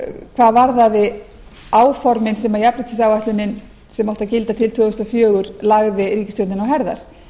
hvað varðaði áformin sem jafnréttisáætlunin sem átti að gilda til tvö þúsund og fjögur lagði ríkisstjórninni á herðar